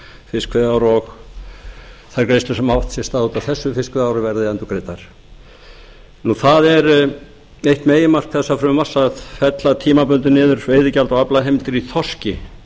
fiskveiðiár og þær greiðslur sem hafa átt sér stað út af þessu fiskveiðiári verði endurgreiddar eitt meginmarkmiða frumvarpsins er að fella tímabundið niður veiðigjald á aflaheimildir í þorski